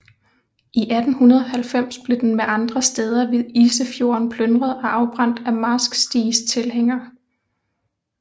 I 1290 blev den med andre stæder ved Isefjorden plyndret og afbrændt af Marsk Stigs tilhængere